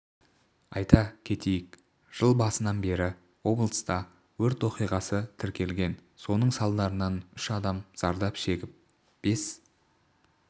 айта кетейік жыл басынан бері облыста өрт оқиғасы тіркелген соның салдарынан үш адам зардап шегіп бес